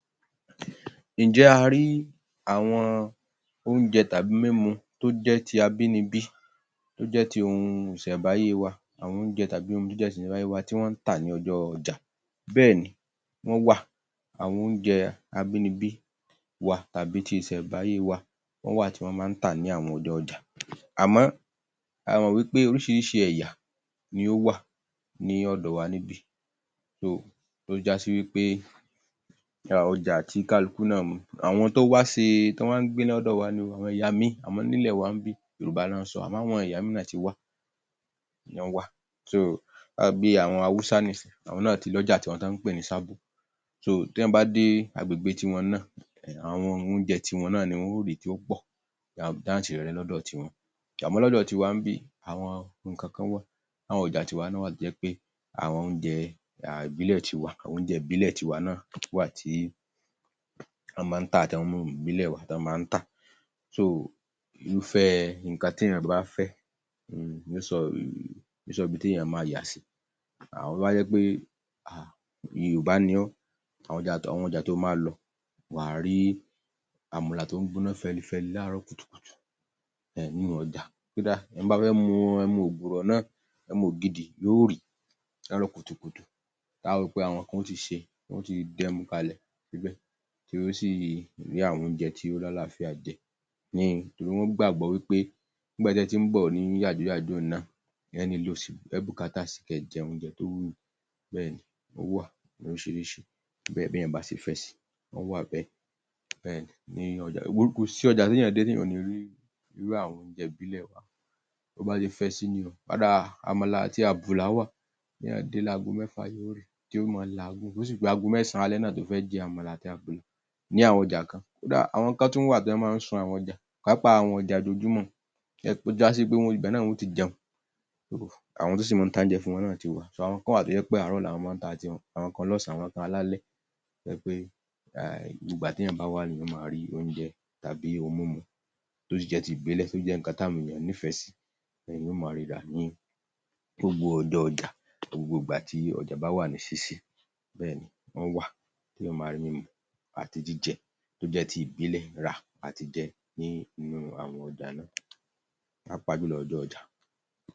Ǹ jẹ́ a rí àwọn oúnjẹ tàbí mímu tó jẹ́ ti abínibí, tó jẹ́ ti ohun ìṣẹ̀ǹbáyé wà, àwọn oúnjẹ tàbí ohun jíjẹ ìṣẹ̀ǹbáyé wà tì wọ́n ń tà ní ọjọ́ ọjà? Bẹ́ẹ̀ni, wọ́n wà, àwọn oúnjẹ abínibí wa tàbí ti ìṣẹ̀ǹbáyé wa, wọ́n wà tí wọ́n máa ń tà ní àwọn ojó ọjà. Àmọ́, ẹ mọ̀ wípé oríṣiríṣi ẹ̀yà ni ó wà ní ọ̀dọ̀ wa níbí, tó já sí wípé àwọn ọjà tí kálukú náà um àwọn tó wá ṣe, tó wá ń gbé lọ́dọ̀ wa ni ó, àwọn ẹ̀yà míì, àmọ́, nílẹ̀ wa níbí yorùbá ná ń sọ, àmọ́ àwọn ẹ̀yà mìíràn ti wà, wọ́n wà bí àwọn Haúsá nísìnyí, àwọn náà ti lọ́jà ti wọn tí wọ́n ń pè ní Sábó,, téyàn bá dé agbègbè ti wọn náà, àwọn oúnjẹ ti wón náà ni wọn ó rí tí ó pọ̀, jáǹtíìrẹrẹ lọ́dọ̀ ti wọn, àmọ́ lọ́dọ̀ ti wa ńbí àwọn nǹkankan wà, láwọn ọjà ti wa náà wà tó jẹ́ pé àwọn oúnjẹ um ìbílẹ̀ ti wa, àwọn oúnjẹ ìbílẹ̀ ti wa náa wà tí wọ́n máa ń tà àwọn ohun ìbílẹ̀ wa tí wọ́n máa ń tà, irúfẹ́ nǹkan tí èyàn bá fẹ́ um ni yóò sọ um só ibi tí èèyàn máa yà sí, àmọ́ tó bá jẹ́ pé um Yorùbá ni ọ́, àwọn ọjà, àwọn ọjà tó o máa lọ wà, wà á rí àmàlà tó ń gbọ́ná fẹlifẹli láàárọ̀ kùtùkùtù nínú ọjà, kódà ẹni tó bá fẹ́ mu ẹmu ògùrọ̀ náà, ẹmu ògidì yóò rí láàárọ̀ kùtùkùtù ta ó wò ó pé àwọn kan ó ti ṣe, wọn yóò ti dẹ́mu kalẹ̀ síbẹ̀, tí yóò sì rí àwọn oúnjẹ tí ó lálàáfíà jẹ, um torí wọ́n gbàgbọ́ pé nígbà tí ẹ ti ń bọ̀ ní yàjóyàjó yẹn náà, ẹ ó nílò ìsinmi kẹ́ ẹ jẹ oúnjẹ tó wù yín, bẹ́ẹ̀ni ó wà, oríṣiríṣi, bẹ́yẹn, béèyàn bá ṣe fẹ sí, ó wà bẹ́ẹ̀, bẹ́ẹ̀ni, ní ọjà,[um] kò sí ọjà téyàn dé téyàn ò ní í rí irú àwọn oúnjẹ ìbílẹ̀ wa, tó bá ṣe fẹ sí ni o Kódà àmàlà àti àbùlà wà, béèyàn dé láago mẹ́fà yóò rí, tí ó máa làágùn, bó sì pé ago mẹ́sàn-án alẹ́ náà tó fẹ́ jẹ àmàlà ní àwọn ọjà kan, kódà àwọn kan tún wà tí wọ́n máa ń sun àwọn ọjà, pàápàá àwọn ọjà ojoojúmọ́, tó já sí wípé ibẹ̀ náà ni wọn ó ti jẹun,[um] àwọn tó sì máa taúnjẹ fún wọn náà ti wà,, àwọn kan wà tó jẹ́ àárọ̀ ni wọ́n máa ń ta ti wọn, àwọn kan lọ́sàn-án àwọn kan alalẹ́, tó jẹ́ pé um ìgbà téèyàn bá wá ni èyàn ó máa rí oúnjẹ tàbí ohun múmu, tó sì jẹ́ ti ìbílẹ̀, tó jẹ́ nǹkan tí àwọn èyàn nífẹ̀ẹ́ sí, [um]èyàn ó máa rí rà ní gbogbo ọjọ́ ọjà, ní gbogbo ìgbà tí ọjà bá wà ní ṣíṣí, bẹ́ẹ̀ni, wọ́n wà, téèyàn máa rí mímu àti jíjẹ tó jẹ́ ti ìbílẹ̀ rà àtijẹ, ní inú àwọn ọjà náà, pàápàá jùlọ ọjọ́ ọjà